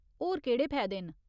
होर केह्ड़े फैदे न ?